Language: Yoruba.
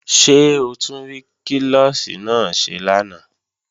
Ṣé o tún klọ́ọ̀ṣì náà ṣe lánàá?